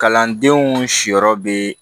Kalandenw siyɔrɔ bɛ